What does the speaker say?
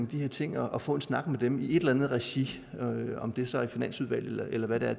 her ting og få en snak med dem i et eller andet regi om det så er i finansudvalget eller hvad det